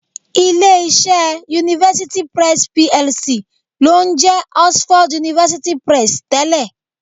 Ilé-iṣẹ́ University Press PLC ló ń jẹ́ Oxford University Press tẹ́lẹ̀